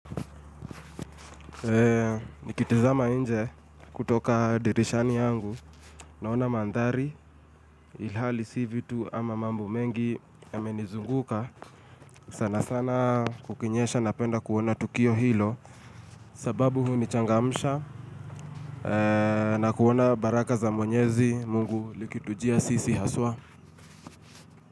Eee nikitizama inje kutoka dirishani yangu Naona mandhari ilhali si vitu ama mambu mengi Yamenizunguka, sana sana kukinyesha napenda kuona tukiyo hilo sababu hunichangamisha na kuona baraka za mwenyezi Mungu likitujia sisi haswa.